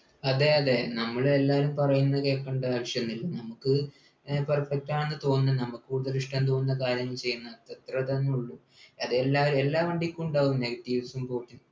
അതെ അതെ നമ്മളെല്ലാരും പറയുന്ന കേകണ്ട ആവശ്യൊന്നും ഇല്ല നമുക്ക് ഏർ perfect ആണ് ന്നു തോന്നണം നമ്മക്കുള്ളിൽ ഇഷ്ടം തോന്നുന്ന കാര്യം ചെയ്യന്ന് അത്രേ ടെന്നെ ഉള്ളു അതെല്ലാ എല്ലാ വണ്ടിക്കും ഉണ്ടാകും negetives ഉം പോസി